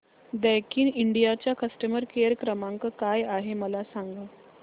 Daikin India चा customer care क्रमांक काय आहे मला सांगा